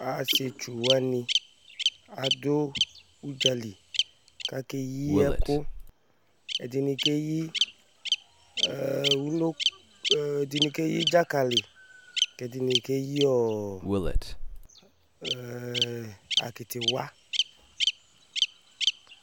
Asietsu awni adʋ ʋdzali k'akeyi ɛkʋ Ɛdini keyi ǝeǝr uno ǝ̀ǝǝ ɛdini keyi dzakali k'ɛdini keyi ɔɔ ǝeǝ akitiwa